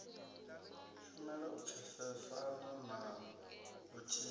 shumela u pfesesana na vhuthihi